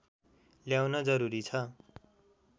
ल्याउन जरुरी छ